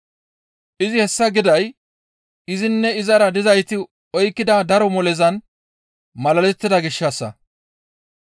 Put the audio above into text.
Izi hessa giday izinne izara dizayti oykkida daro molezan malalettida gishshassa.